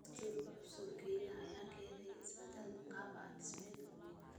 Dastuurka cusub ayaa Kenya ka keenay isbedelo qaab dhismeed oo waaweyn.